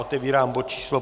Otevírám bod číslo